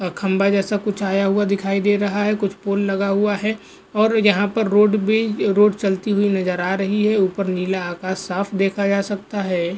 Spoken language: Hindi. खंबा जैसा कुछ आया हुआ दिखाई दे रहा है कुछ पोल लगा हुआ है और यहाँ पर रोड भी रोड चलती हुई नजर आ रही है ऊपर नीला आकाश साफ देखा जा सकता है।